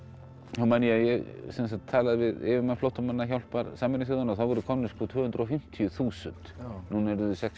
þá man ég að talaði við yfirmann flóttamannahjálpar þá voru komin tvö hundruð og fimmtíu þúsund núna eru þau sex